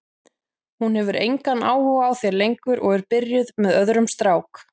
Hún hefur engan áhuga á þér lengur og er byrjuð með öðrum strák.